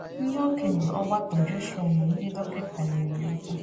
Ndị okenye ọgbakọ Joshua na ndị dọkịta nyeere ya aka.